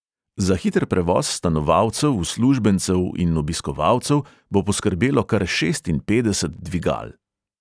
Za hiter prevoz stanovalcev, uslužbencev in obiskovalcev bo poskrbelo kar šestinpetdeset dvigal.